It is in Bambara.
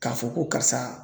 K'a fɔ ko karisa